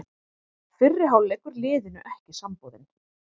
Fyrri hálfleikur liðinu ekki samboðinn